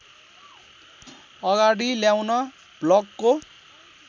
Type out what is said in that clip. अगाडि ल्याउन ब्लकको